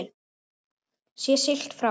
Sé siglt frá